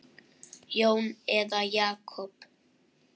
Jón eða Jakob?